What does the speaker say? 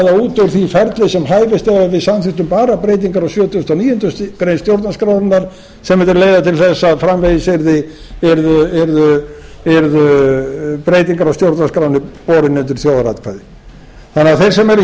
út úr því ferli sem hæfist ef við samþykktum bara breytingar á sjötugasta og níundu grein stjórnarskrárinnar sem mundi leiða til þess að framvegis yrðu breytingar á stjórnarskránni bornar undir þjóðaratkvæði þeir sem eru því hér